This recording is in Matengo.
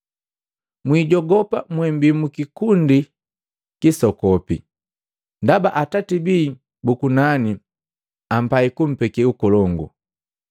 “Mwijogopa mwembii mukilundu kisokopi, ndaba Atati bii bu kunani apai kumpeke Ukolongu.